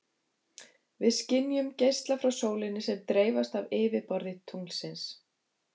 Við skynjum geisla frá sólinni sem dreifast af yfirborði tunglsins.